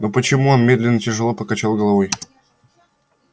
но почему он медленно тяжело покачал головой